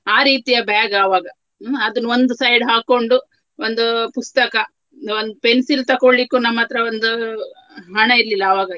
ಆ ರೀತಿಯ bag ಆವಾಗ. ಹ್ಮ್‌ ಅದನ್ನು ಒಂದು side ಹಾಕ್ಕೊಂಡು ಒಂದು ಪುಸ್ತಕ ಒಂದು pencil ತಕೊಳ್ಳಿಕ್ಕು ನಮ್ಮತ್ರ ಒಂದು ಹಣ ಇರ್ಲಿಲ್ಲ ಆವಾಗ.